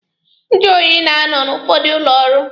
Njụ oyi na-anọ n'ụfọdụ ụlọ ọrụ.